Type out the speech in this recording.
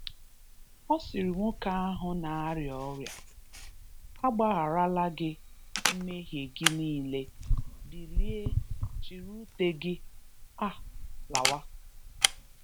Ọ sịrị nwoke ahụ na-arịa ọrịa, “Agbagharala gị mmehie gị niile. Bilie, chịrị ute gị um lawa.”